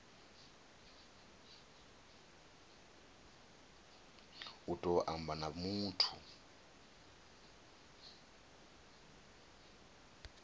u tou amba na muthu